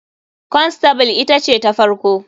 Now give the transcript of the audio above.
Constable ita ce ta farko.